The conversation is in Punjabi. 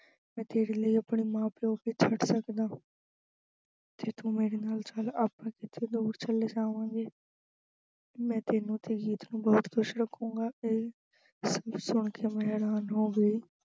ਮੈਂ ਤੇਰੇ ਲਈ ਆਪਣੇ ਮਾਂ-ਪਿਉ ਨੂੰ ਵੀ ਛੱਡ ਸਕਦਾ ਤੇ ਤੂੰ ਮੇਰੇ ਨਾਲ ਚੱਲ ਆਪਾ ਕਿਤੇ ਦੂਰ ਚਲੇ ਜਾਵਾਂਗੇ ਮੈਂ ਤੈਨੂੰ ਤੇ ਪ੍ਰੀਤ ਨੂੰ ਬਹੁਤ ਖੁਸ਼ ਰੱਖੁੂੰਗਾ ਤੇ ਇਹ ਗੱਲ ਸੁਣ ਕਿ ਮੈਂ ਹੈਰਾਨ ਹੋ ਗਈ।